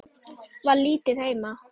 Var lítið heima.